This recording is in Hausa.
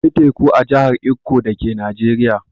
Akwai teku a jahar ikko dake Najeriya.